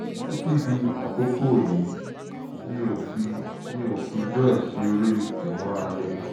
títí di àkókò yìí mi ò fi mi ò fi bẹ́ẹ̀ ṣeré ìmárale